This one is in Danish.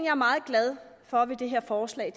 er meget glad for ved det her forslag